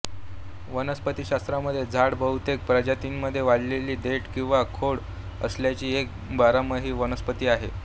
वनस्पतिशास्त्रामध्ये झाड बहुतेक प्रजातींमध्ये वाढवलेली देठ किंवा खोड असलेली एक बारमाही वनस्पती आहे